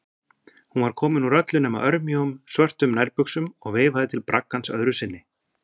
Hún var komin úr öllu nema örmjóum, svörtum nærbuxum og veifaði til braggans öðru sinni.